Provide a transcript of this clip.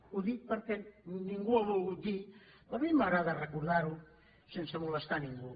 ho dic perquè ningú ho ha volgut dir però a mi m’agrada recordar ho sense molestar ningú